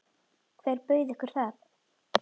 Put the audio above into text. Hver bauð ykkur það?